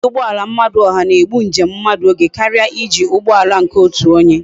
iji ugboala oha na egbu njem mmadu oge karia iji ugboala nke otu onye